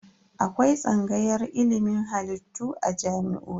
Akwai tsangayar ilimin halittu a jami'o'i.